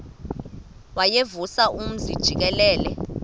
wayevusa umzi jikelele